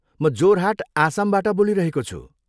म जोरहाट, आसमबाट बोलिरहेको छु।